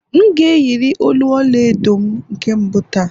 M ga-eyiri olu ọla edo m nke mbụ taa